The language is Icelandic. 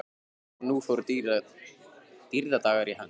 Og nú fóru dýrðardagar í hönd.